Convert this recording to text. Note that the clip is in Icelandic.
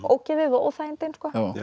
ógeðið og óþægindin